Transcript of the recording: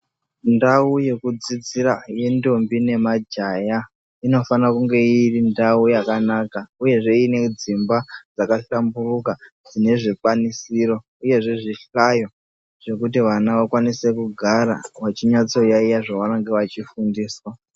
Ndau yekudzidzira yentombo nemajaha inofane kunge iri ndau yakanaka uyezve iine dzimba dzakahlamburuka dzine zvidziyo uyezve zvihlayo zvekuti vana vakwanise kugara vachinyatsoyaiya zvavanenge vachifundiswa.